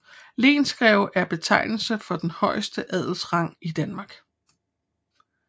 Lensgreve er betegnelsen for den højeste adelsrang i Danmark